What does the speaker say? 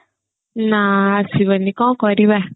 ନା ଆସିବନି କଣ କରିବା